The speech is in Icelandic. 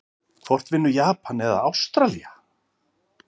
Hvort vinnur Japan eða Ástralía???